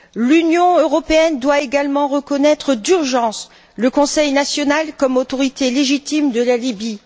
L'Union européenne doit également reconnaître d'urgence le Conseil national comme autorité légitime de la Libye.